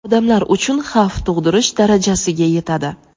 odamlar uchun xavf tug‘dirish darajasiga yetadi.